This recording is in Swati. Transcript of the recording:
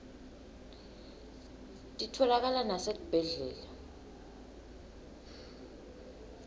titfolakala nasetibhedlela